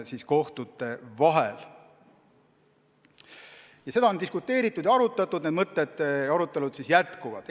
Selle üle on diskuteeritud ja need arutelud jätkuvad.